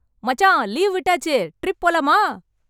மச்சான், லீவு விட்டாச்சு, ட்ரிப் போலாமா!